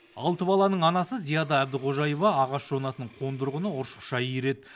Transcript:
алты баланың анасы зияда әбдіқожаева ағаш жонатын қондырғыны ұршықша иіреді